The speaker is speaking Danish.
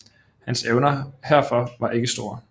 Hans evner herfor var ikke store